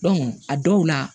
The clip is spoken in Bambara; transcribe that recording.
a dɔw la